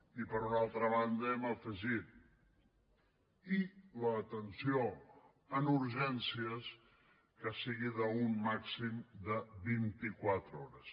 i per una altra banda hem afegit i l’atenció a urgències que sigui en un màxim de vint i quatre hores